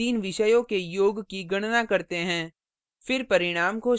यहाँ हम तीन विषयों के योग की गणना करते हैं